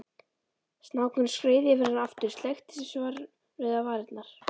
Snákurinn skreið yfir hann aftur, sleikti svarrauðar varirnar.